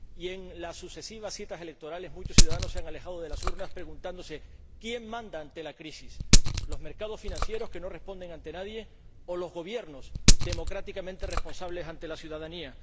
Y, en las sucesivas citas electorales, muchos ciudadanos se han alejado de las urnas preguntándose quién manda ante la crisis ¿los mercados financieros, que no responden ante nadie, o los Gobiernos, democráticamente responsables ante la ciudadanía?